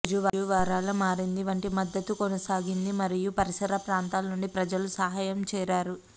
రోజు వారాల మారింది వంటి మద్దతు కొనసాగింది మరియు పరిసర ప్రాంతాల నుండి ప్రజలు సహాయం చేరారు